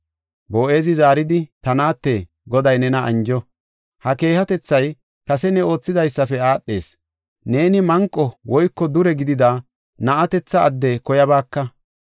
Boo7ezi zaaridi, “Ta naate, Goday nena anjo! ha keehatethay kase ne oothidaysafe aadhees. Neeni manqo woyko dure gidida na7atetha adde koyabaaka.